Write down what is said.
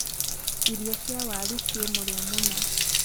irio cia waaru ci mũrio mũno